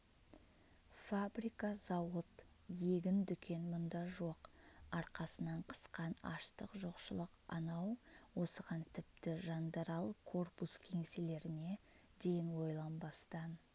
фабрика-зауыт егін дүкен мұнда жоқ арқасынан қысқан аштық жоқшылық анау осыған тіпті жандарал корпус кеңселеріне дейін ойланбастан